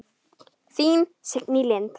Þín, Signý Lind.